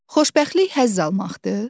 Xoşbəxtlik həzz almaqdır.